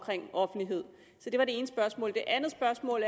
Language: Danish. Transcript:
offentlighed det var det ene spørgsmål det andet spørgsmål